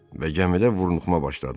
Və gəmidə vurnuxma başladı.